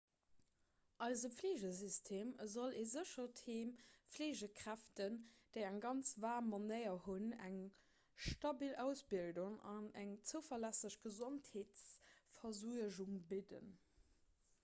eise fleegesystem soll e séchert heem fleegekräften déi eng ganz waarm manéier hunn eng stabil ausbildung an eng zouverlässeg gesondheetsversuergung bidden